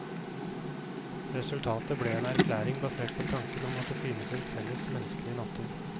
Resultatet ble en erklæring basert på tanken om at det finnes en felles menneskelig natur.